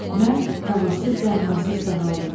Mən davasız, dərmansız sağaldım.